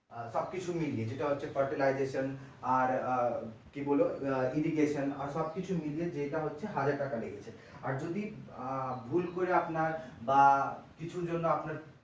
সব কিছু মিলিয়ে যেটা হচ্ছে fertilization আর আহ কি বলবো irrigation আর আহ সব কিছু মিলিয়ে যেটা হচ্ছে হাজার টাকা লেগেছে আর আহ যদি ভুল করে আপনার বা কিছুর জন্য আপনার